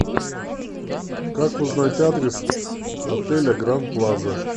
как узнать адрес отеля гранд плаза